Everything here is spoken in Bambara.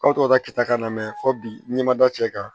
Aw tɔgɔ kɛta na mɛ fɔ bi n'i ma da cɛ kan